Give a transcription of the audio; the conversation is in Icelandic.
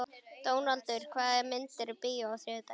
Dónaldur, hvaða myndir eru í bíó á þriðjudaginn?